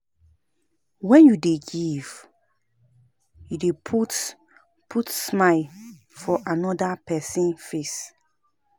Wen you dey give, you dey put put smile for amoda pesin face.